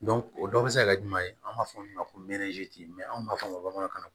o dɔ bɛ se ka kɛ jumɛn ye an b'a fɔ min ma ko anw b'a fɔ bamanankan na